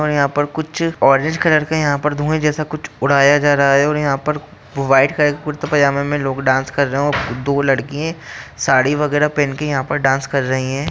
और यहां पर कुछ ऑरेंज कलर का यहां पर धुए जैसा कुछ उड़ाया जा रहा है और यहां पर व्हाइट का एक कुर्ते पजामे मे लोग डांस कर रहे हैं दो लड़किए साड़ी वगैरा पहन के यहां पर डांस कर रही हैं।